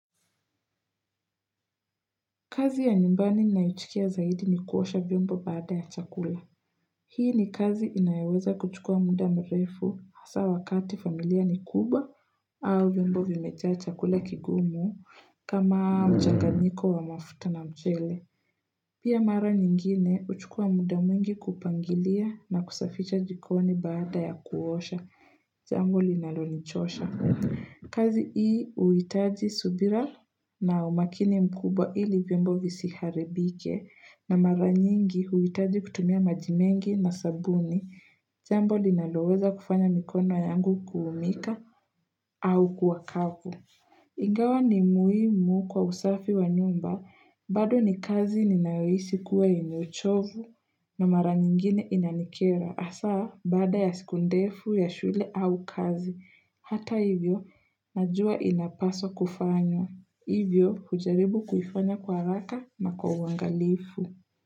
Kazi ya nyumbani ninayochukia zaidi ni kuosha vyombo baada ya chakula. Hii ni kazi inayoweza kuchukua muda mrefu hasa wakati familia ni kubwa au vyombo vimejaa chakula kigumu kama mchakanyiko wa mafuta na mchele. Pia mara nyingine, huchukua muda mwingi kupangilia na kusafisha jikoni baada ya kuosha. Jambo linalonichosha. Kazi hii huitaji subira na umakini mkubwa ili vyombo visiharibike na mara nyingi huitaji kutumia maji mengi na sabuni. Jambo linaloweza kufanya mikono yangu kuumika au kuwa kavu. Ingawa ni muhimu kwa usafi wa nyumba. Bado ni kazi ninayohisi kuwa inachovu na mara nyingine inanikera. Hasa, baada ya siku ndefu ya shule au kazi, hata hivyo, najua inapaswa kufanywa. Hivyo, hujaribu kuifanya kwa haraka na kwa uangalifu.